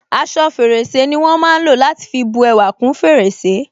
Aṣọ fèrèsé ni wọn ń lò láti fi bú ẹwà kún fèrèsé